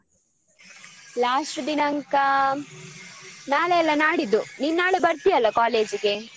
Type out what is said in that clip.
Last ದಿನಾಂಕ ನಾಳೆ ಅಲ್ಲ ನಾಡಿದ್ದು ನೀನ್ ನಾಳೆ ಬರ್ತಿಯಲ್ಲ college ಗೆ?